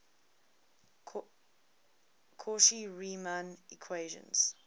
cauchy riemann equations